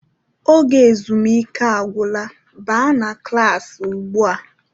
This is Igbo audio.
Oge ezumike agwụla, baa n'klas ụgbụa!